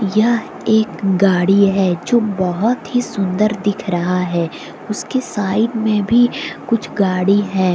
यह एक गाड़ी है जो बहुत ही सुंदर दिख रहा है उसके साइड में भी कुछ गाड़ी है।